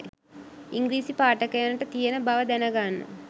ඉංගිරිසි පාඨකයනට තියෙන බව දැනගන්න